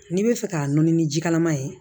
N'i bɛ fɛ k'a nɔɔni ni ji kalaman ye